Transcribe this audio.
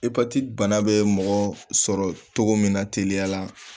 Epatiti bana bɛ mɔgɔ sɔrɔ cogo min na teliya la